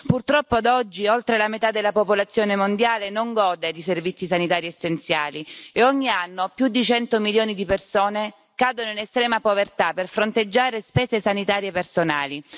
Purtroppo, ad oggi, oltre la metà della popolazione mondiale non gode di servizi sanitari essenziali e ogni anno più di cento milioni di persone cadono in estrema povertà per fronteggiare spese sanitarie personali.